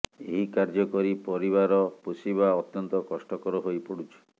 ଏହି କାର୍ଯ୍ୟ କରି ପରିବାର ପୋଷିବା ଅତ୍ୟନ୍ତ କଷ୍ଟକର ହୋଇ ପଡୁଛି